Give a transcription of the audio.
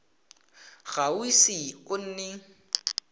ga o ise o nne